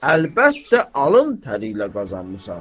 Əlbəttə alın təri ilə qazanmısan.